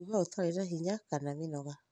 kũigua ũtarĩ na hinya kana mĩnoga